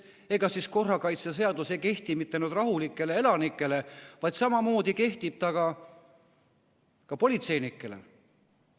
Ega siis korrakaitseseadus ei kehti mitte ainult rahulikele elanikele, samamoodi kehtib ta ka politseinikele.